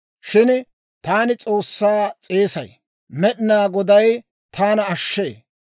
Shin taani S'oossaa s'eesay; Med'inaa Goday taana ashshee.